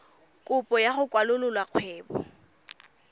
kopo ya go kwalolola kgwebo